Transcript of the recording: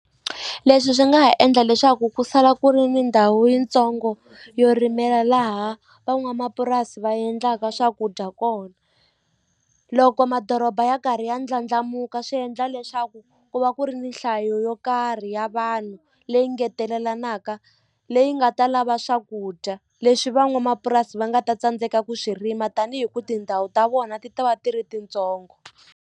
Leswi swi nga ha endla leswaku ku sala ku ri ni ndhawu yitsongo yo rimela laha van'wamapurasi va endlaka swakudya kona loko madoroba ya karhi ya ndlandlamuka swi endla leswaku ku va ku ri ni nhlayo yo karhi ya vanhu leyi ngetelelanaka leyi nga ta lava swakudya leswi van'wamapurasi va nga ta tsandzeka ku swi rima tanihi ku tindhawu ta vona ti ta va ti ri tintsongo.